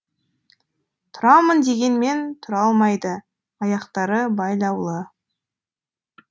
тұрамын дегенмен тура алмайды аяқтары байлаулы